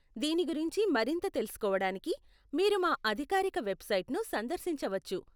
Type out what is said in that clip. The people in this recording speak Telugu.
దీని గురించి మరింత తెలుసుకోవడానికి మీరు మా అధికారిక వెబ్సైట్ను సందర్శించవచ్చు.